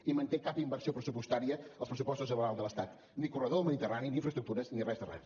i manté cap inversió pressupostària als pressupostos generals de l’estat ni corredor del mediterrani ni infraestructures ni res de res